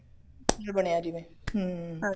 ਬਣਿਆ ਜਿਵੇਂ ਹਮ